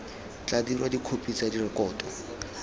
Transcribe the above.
tla dirwa dikhopi tsa rekoto